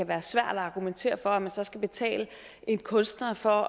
være svært at argumentere for at man så skal betale en kunstner for